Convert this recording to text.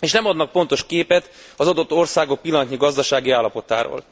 és nem adnak pontos képet az adott országok pillanatnyi gazdasági állapotáról.